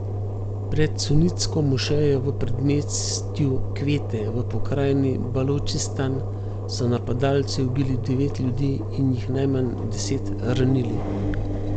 Pred sunitsko mošejo v predmestju Kvete v pokrajini Balučistan so napadalci ubili devet ljudi in jih najmanj deset ranili.